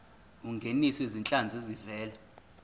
ungenise izinhlanzi ezivela